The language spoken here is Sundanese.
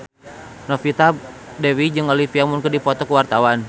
Novita Dewi jeung Olivia Munn keur dipoto ku wartawan